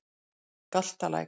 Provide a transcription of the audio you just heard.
Galtalæk